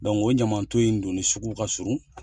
o ɲaman ton in dun ni sugu ka surun.